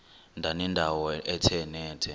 ndanendawo ethe nethe